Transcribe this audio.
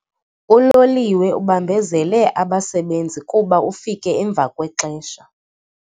Uloliwe ubambezele abasebenzi kuba ufike emva kwexesha.